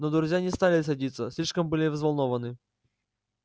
но друзья не стали садиться слишком были взволнованны